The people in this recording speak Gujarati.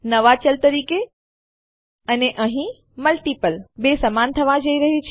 નવા ચલ તરીકે અને અહીં મલ્ટિપલ 2 સમાન થવા જઈ રહ્યું છે